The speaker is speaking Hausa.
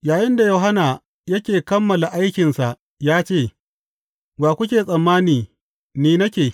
Yayinda Yohanna yake kammala aikinsa ya ce, Wa kuke tsammani ni nake?